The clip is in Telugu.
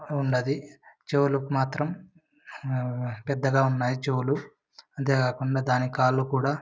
ఉండేది. చెవులకు మాతరం అహ్హ పెద్దగా ఉన్నాయ్ చెవులు అంతె కాకుండా దాని కాలు కూడా--